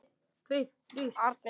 Árný Þóra.